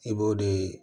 I b'o de